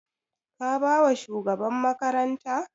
Ka ba wa shugaban makaranta?